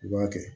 I b'a kɛ